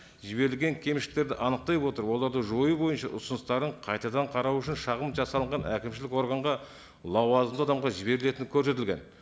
жіберілген кемшіліктерді анықтай отырып оларды жою бойынша ұсыныстарын қайтадан қарау үшін шағым жасалынған әкімшілік органға лауазымды адамға жіберілетіні көрсетілген